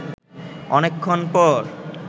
অনেকক্ষণ পর